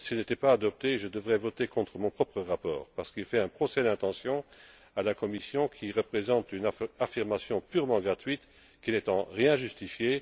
S'il n'était pas adopté, je devrais voter contre mon propre rapport, parce qu'il fait un procès d'intention à la Commission qui représente une affirmation purement gratuite qui n'est en rien justifiée.